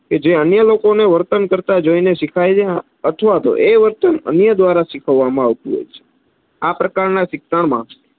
જે અન્ય લોકો ને વર્તન કરતાં જોઈ ને શિખાય છે અથવા તો એ વર્તન અન્ય દ્વારા શીખવવામાં આવતું હોય છે. આ પ્રકાર ના શિક્ષણ માં,